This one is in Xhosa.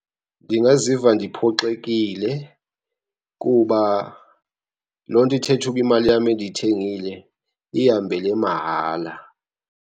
Ndingaziva ndiphoxekile kuba loo nto ithetha uba imali yam endiyithengile ihambele mahala.